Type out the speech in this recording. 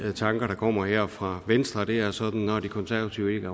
tanker der kommer her fra venstre det er sådan at når de konservative